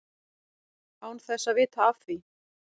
Án þess að vita af því.